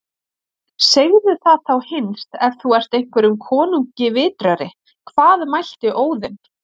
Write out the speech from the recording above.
Segðu það þá hinst ef þú ert hverjum konungi vitrari: Hvað mælti Óðinn